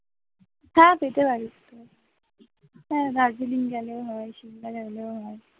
হ্যাঁ যেতে পারিস তো হ্যাঁ দার্জিলিং গেলেও হয়, সিমলা গেলেও হয়